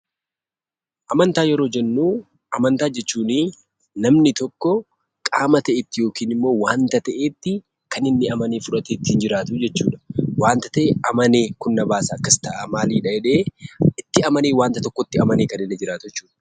Amantaa jechuun namni tokko qaama ta'etti yookiin wanta ta'etti kan inni amanee fudhatee ittiin jiraatu jechuudha. Wanti ta'e amanee kun na baasa akkas ta'a jedhee itti amanee wanta tokkotti amanee kan inni jiraatu jechuudha.